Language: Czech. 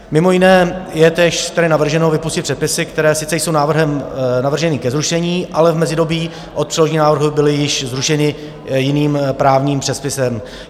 Mimo jiné je též tedy navrženo vypustit předpisy, které sice jsou návrhem navrženy ke zrušení, ale v mezidobí od předložení návrhu byly již zrušeny jiným právním předpisem.